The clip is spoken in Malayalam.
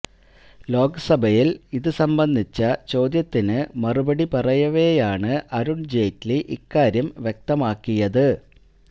ലോക്സഭയില് ഇതു സംബന്ധിച്ച ചോദ്യത്തിനു മറുപടി പറയവെയാണ് അരുണ് ജയ്റ്റ്ലി ഇക്കാര്യം വ്യക്തമാക്കിയത്